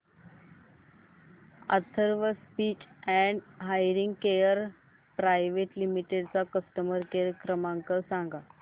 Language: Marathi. Atharva speech and hearing care private limited चा कस्टमर केअर क्रमांक सांगा